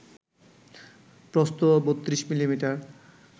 প্রস্থ ৩২ মিমি